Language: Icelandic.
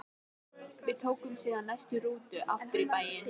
Við tókum síðan næstu rútu aftur í bæinn.